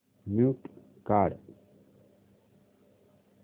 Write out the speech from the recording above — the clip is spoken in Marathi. म्यूट काढ